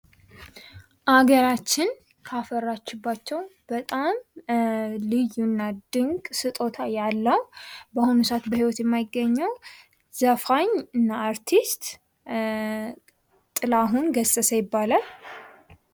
ሀገራችን ካፈራችሁባቸው በጣም ልዩ እና ድንቅ ስጦታ ያለው በአሁኑ ሰዓት የህይወት የማይገኘው ዘፋኝ እና አርቲስት ጥላሁን ገሰሰ ይባላል።